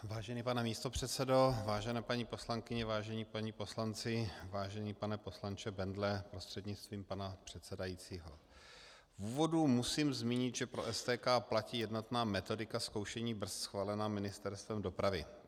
Vážený pane místopředsedo, vážené paní poslankyně, vážení páni poslanci, vážený pane poslanče Bendle prostřednictvím pana předsedajícího, v úvodu musím zmínit, že pro STK platí jednotná metodika zkoušení brzd schválená Ministerstvem dopravy.